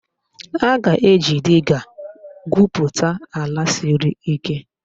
A ga-eji diga gwupụta ala siri ike